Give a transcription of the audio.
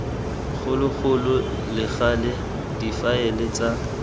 kgologolo le gale difaele tsa